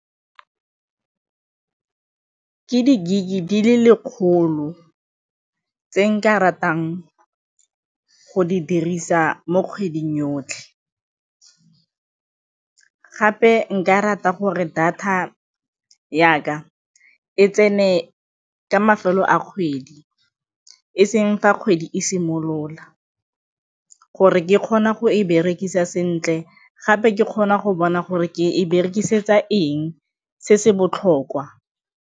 Ke di-gig-e di le lekgolo tse nka ratang go di dirisa mo kgweding yotlhe gape nka rata gore data ya ka e tsene ka mafelo a kgwedi e seng fa kgwedi e simolola gore ke kgone go e berekisa sentle gape ke kgona go bona gore ke e berekisetsa eng se se botlhokwa.